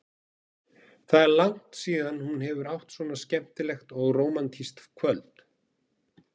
Það er langt síðan hún hefur átt svona skemmtilegt og rómantískt kvöld.